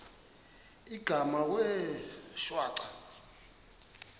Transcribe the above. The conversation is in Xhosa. igama wee shwaca